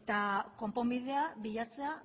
eta konponbidea bilatzea